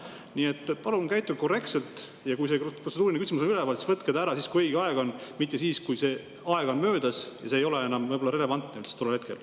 Nii et palun käituge korrektselt ja kui protseduuriline küsimus on üleval, siis see ära, kui õige aeg on, mitte siis, kui see aeg on möödas ja see ei ole enam võib-olla relevantne tol hetkel.